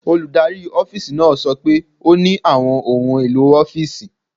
Olùdarí ọ́fíìsì náà sọ pé ó ní àwọn ohun èlò ọ́fíìsì.